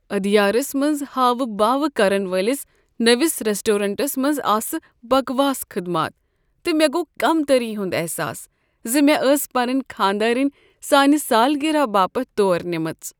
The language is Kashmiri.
ادیارس منٛز ہاوٕ باو كرن وٲلِس نٔوس ریسٹورینٛٹس منٛز آسہٕ بکواس خدمات تہٕ مےٚ گوٚو كمتری ہُنٛد احساس ز مےٚ ٲس پنٕنۍ خانٛداریٚنۍ سانہ سالگرہ باپت تور نیٖمٕژ۔